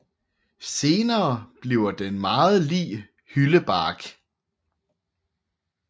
Senere bliver den meget lig hyldebark